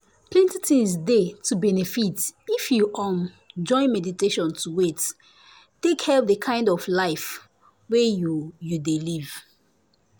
plenty things dey to benefit if um you join meditation to wait - take help the kind of life wey you you dey live